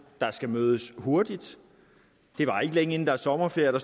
der skal mødes hurtigt det varer ikke længe inden der er sommerferie og